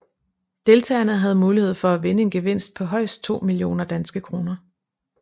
Deltagerne havde mulighed for at vinde en gevinst på højst 2 millioner DKK